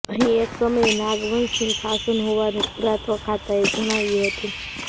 અહીં એક સમયે નાગવંશનું શાસન હોવાનું પુરાતત્વખાતાએ જણાવ્યું હતું